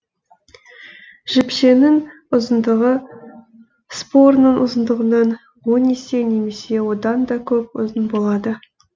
жіпшенің ұзындығы спораның ұзындығынан он есе немесе оданда көп ұзын болады